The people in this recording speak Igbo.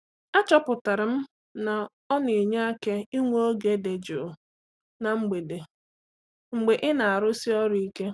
Achọpụtara m na ọ na-enye aka inwe oge dị jụụ na mgbede mgbe ị na-arụsi ọrụ ike.